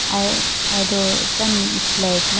aye aye do tando flag na.